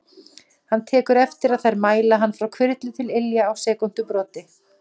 Hann tekur eftir að þær mæla hann frá hvirfli til ilja á sekúndubroti.